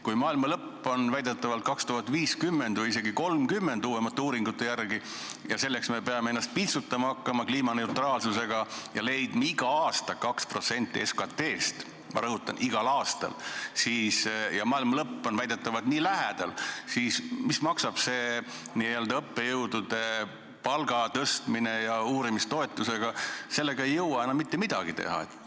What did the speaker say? Kui maailma lõpp on väidetavalt 2050 või isegi 2030 – uuemate uuringute järgi –, ja me peame hakkama selleks ennast kliimaneutraalsusega piitsutama ja leidma igal aastal 2% SKT-st – ma rõhutan, igal aastal –, ja maailma lõpp on väidetavalt nii lähedal, siis mis maksab see õppejõudude palga tõstmine ja uurimistoetused, sellega ei jõua enam mitte midagi teha.